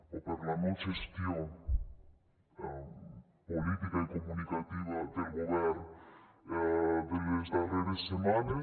o per la no gestió política i comunicativa del govern de les darreres setmanes